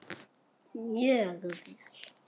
Mjög vel.